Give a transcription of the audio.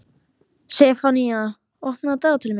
Sefanía, opnaðu dagatalið mitt.